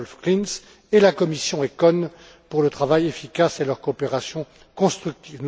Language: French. Wolf Klinz, et la commission ECON pour leur travail efficace et leur coopération constructive.